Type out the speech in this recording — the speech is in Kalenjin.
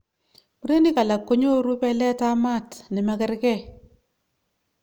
murenik alak konyoru pelet ap maat chemakergei